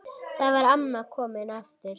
Þar var amma komin aftur.